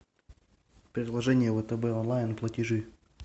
приложение втб онлайн платежи